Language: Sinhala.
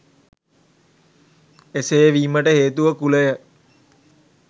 එසේ වීමට හේතුව කුලය